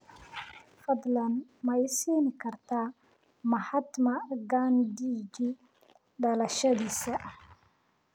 fadlan ma i siin kartaa mahatma gandhiji dhalashadiisa